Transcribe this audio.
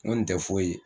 N kɔni tɛ foyi ye